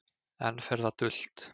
Enn fer það dult